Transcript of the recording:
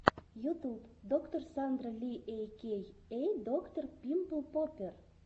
ютуб доктор сандра ли эй кей эй доктор пимпл поппер